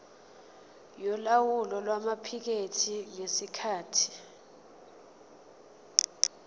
yolawulo lwamaphikethi ngesikhathi